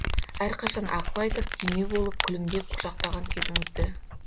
әрқашан ақыл айтып демеу болып күлімдеп құшақтаған кезіңізді